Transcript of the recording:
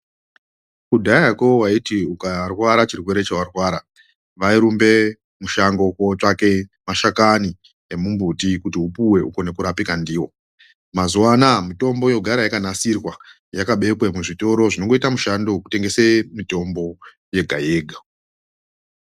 Kudhayako waiti ukqrwara chartered chewarwara wairumbe kushango kootsvake mashakani emumbuti kuti upuwe ukone kurapika ndiwo .Mazuwa anaya mitombo yogara yakanasirwa yakabekwe muzvitoro zvinondoita mishando yekutengese mitombo yega yega.